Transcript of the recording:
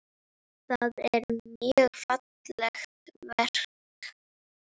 Það er mjög fallegt verk.